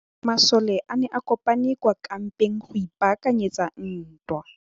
Masole a ne a kopane kwa kampeng go ipaakanyetsa ntwa.